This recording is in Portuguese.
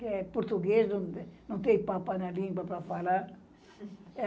Que é português, não tem papa na língua para falar.